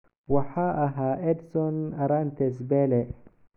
Waxaa ahaa Edson Arantes Pele.